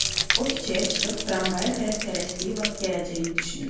O küçəyə çıxıb tramvaya tərəf tələsdiyi vaxt gələcəyini düşünürdü.